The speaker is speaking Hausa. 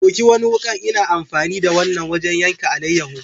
Ɗauki wani wuka ,n'na amfani da wanan wajen yankan alayeho.